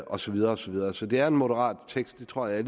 og så videre og så videre så det er en moderat tekst det tror jeg at